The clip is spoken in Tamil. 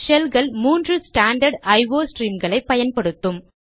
ஷெல்கள் மூன்று ஸ்டாண்டர்ட் ஐஓ ஸ்ட்ரீம்களை பயன்படுத்தும்